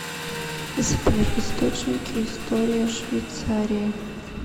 сбер источники история швейцарии